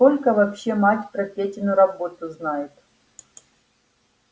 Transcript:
сколько вообще мать про петину работу знает